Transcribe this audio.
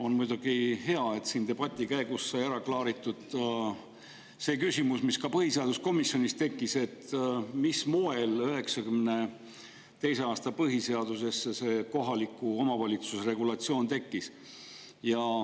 On muidugi hea, et siin debati käigus sai ära klaaritud see küsimus, mis ka põhiseaduskomisjonis tekkis, et mil moel 1992. aasta põhiseadusesse see kohaliku omavalitsuse regulatsioon tekkis.